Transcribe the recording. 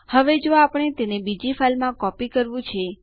sudo આદેશ ને ઘણા વિકલ્પો છે